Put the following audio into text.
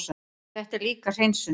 En þetta er líka hreinsun.